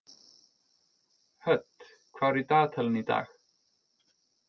Hödd, hvað er í dagatalinu í dag?